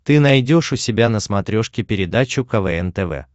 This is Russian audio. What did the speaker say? ты найдешь у себя на смотрешке передачу квн тв